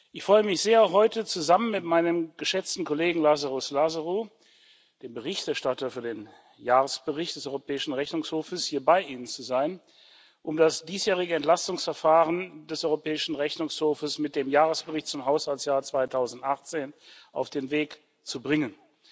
Ich freue mich sehr, heute zusammen mit meinem geschätzten Kollegen Lazaros Lazarou, dem Berichterstatter für den Jahresbericht des Europäischen Rechnungshofes, hier bei Ihnen zu sein, um das diesjährige Entlastungsverfahren des Europäischen Rechnungshofes mit dem Jahresbericht zum Haushaltsjahr 2018 auf den Weg zu bringen.